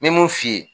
Me mun f'i ye